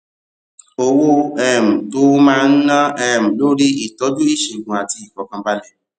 owó um tó o máa ná um lórí ìtójú ìṣègùn àti ìfòkànbalè